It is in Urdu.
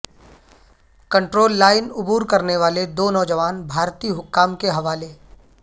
کنڑول لائن عبور کرنے والے دو نوجوان بھارتی حکام کے حوالے